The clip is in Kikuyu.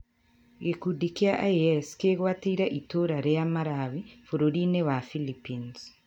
Gĩkundi kĩa IS gĩgwatĩire itũũra rĩa Marawi bũrũri-inĩ wa Philippines